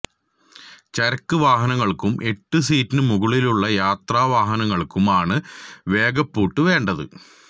ചരക്ക് വാഹനങ്ങൾക്കും എട്ട് സീറ്റിനു മുകളിലുള്ള യാത്രാ വാഹനങ്ങൾക്കുമാണ് വേഗപ്പൂട്ട് വേണ്ടത്